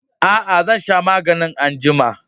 Aa, zan sha maganin anjima.